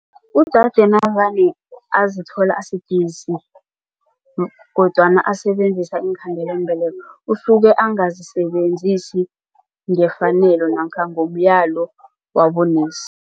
Udade navane azithola asidisi kodwana asebenzisa iinkhandelambeleko usuke angazisebenzisi ngefanelo namkha ngomyalo wabonesi.